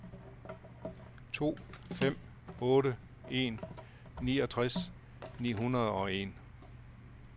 to fem otte en niogtres ni hundrede og en